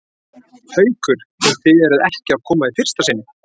Haukur: Og þið eruð ekki að koma í fyrsta sinn?